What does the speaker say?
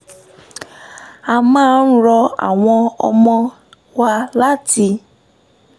a máa ń rọ àwọn ọmọ wa láti